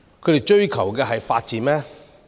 他們追求的是法治嗎？